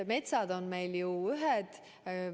Metsad on meil ju ühed.